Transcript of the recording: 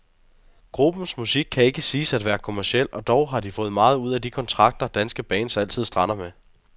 Gruppens musik kan ikke siges at være kommerciel, og dog har de fået meget ud af de kontrakter, danske bands altid strander med.